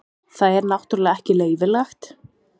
Það er náttúrulega ekki leyfilegt.